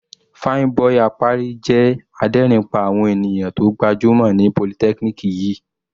Fine boi Apari jẹ́ adérin pá àwọn ènìyàn tó gbajúmọ̀ ní polytechnic yìí.